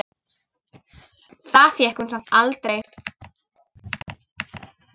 Það fékk hún samt aldrei.